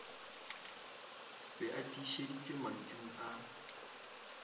be e tiišeditšwe mantšung a